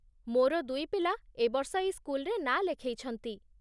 ମୋର ଦୁଇ ପିଲା ଏ ବର୍ଷ ଏଇ ସ୍କୁଲରେ ନାଁ ଲେଖେଇଛନ୍ତି ।